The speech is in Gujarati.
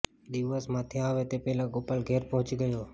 દિવસ માથે આવે તે પહેલાં ગોપાલ ઘેર પહોંચી ગયો